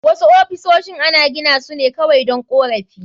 Wasu ofisoshin ana gina su ne kawai don korafi